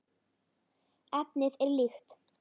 Efnið er líkt.